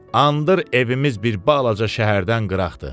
Andır evimiz bir balaca şəhərdən qıraqdır.